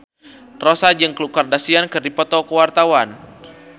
Rossa jeung Khloe Kardashian keur dipoto ku wartawan